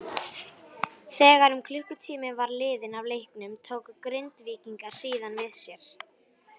Þegar um klukkutími var liðinn af leiknum tóku Grindvíkingar síðan við sér.